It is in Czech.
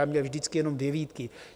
Já měl vždycky jenom dvě výtky.